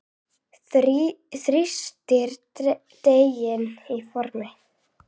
Þrýstið deiginu í formið.